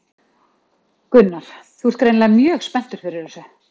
Gunnar: Þú ert greinilega mjög spenntur fyrir þessu?